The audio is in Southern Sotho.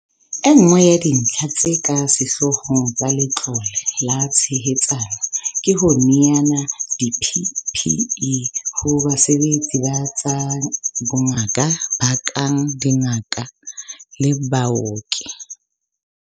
Enngwe ya dintlha tse ka sehloohong tsa Letlole la Tshehetsano ke ho neana di-PPE ho basebeletsi ba tsa bongaka ba kang dingaka le baoki.